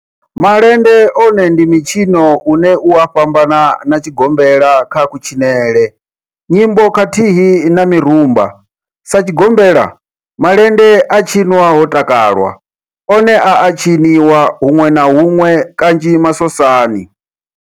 Malende one ndi mitshino une u a fhambana na tshigombela kha kutshinele, nyimbo khathihi na mirumba, Sa tshigombela, malende a tshinwa ho takalwa, one a a tshiniwa hunwe na hunwe kanzhi masosani.